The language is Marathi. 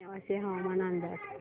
नेवासे हवामान अंदाज